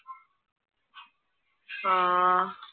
ആഹ്